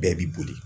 Bɛɛ b'i boli